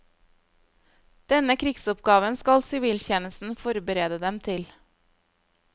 Denne krigsoppgaven skal siviltjenesten forberede dem til.